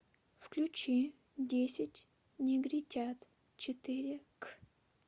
включи десять негритят четыре к